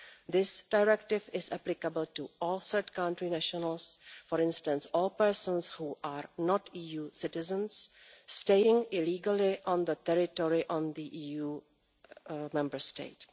This directive is applicable to all third country nationals, for instance all persons who are not EU citizens staying illegally on the territory of an EU Member State.